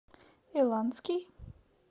иланский